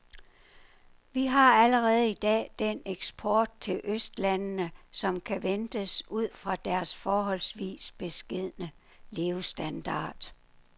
Vi har allerede i dag den eksport til østlandene, som kan ventes ud fra deres forholdsvis beskedne levestandard.